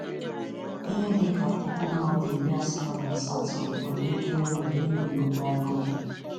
Ihe dị ka puku mmadụ iri asatọ na asatọ nwere ike ịnwụ n'ihi nnukwu agụụ.